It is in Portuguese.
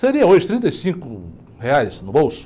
Seria hoje trinta e cinco reais no bolso